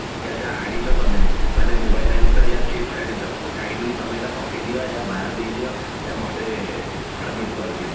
ଆଣିଛ ତମେ ମାନେ mobile ଆଣିଛ ନା chits ଆଣିଛ kindly ତମେ ଏଇଟା ପକେଇଦିଅ ୟା ବାହାରେ ଦେଇଦିଅ ୟା ମତେ submit କରିଦିଅ